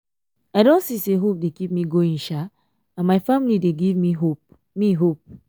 i don see say hope dey keep me going sha and my family dey give me hope me hope